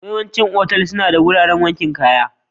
Yawaicin otal-otal suna da wuraren wankin kaya.